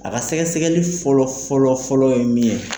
A ka sɛgɛsɛgɛli fɔlɔ fɔlɔ fɔlɔ ye min ye.